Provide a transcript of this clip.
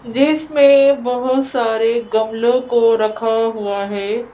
जिसमें बहुत सारे गमलों को रखा हुआ है।